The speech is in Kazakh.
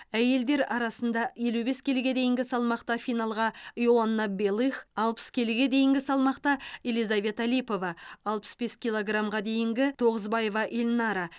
әйелдер арасында елу бес келіге дейінгі салмақта финалға иоанна белых алпыс келіге дейінгі салмақта елизавета липова алпыс бес килограмға дейінгі тоғызбаева эльнара